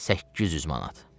800 manat.